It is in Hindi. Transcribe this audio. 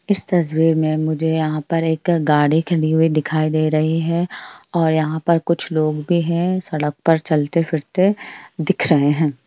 इस तसवीर में मुझे यहाँ पर एक गाडी खड़ी हुई दिखाई दे रही है और यहाँ पर कुछ लोग भी है सड़क पर चलते फिरते दिख रहे है।